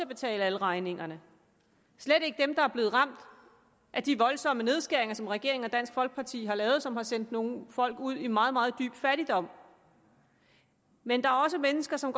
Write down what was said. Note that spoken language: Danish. betale alle regningerne slet ikke dem der er blevet ramt af de voldsomme nedskæringer som regeringen og dansk folkeparti har lavet og som har sendt nogle folk ud i meget meget dyb fattigdom men der er også mennesker som